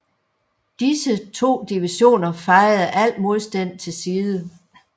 Disse to divisioner fejede al modstand til side